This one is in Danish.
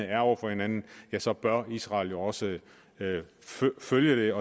er over for hinanden ja så bør israel jo også følge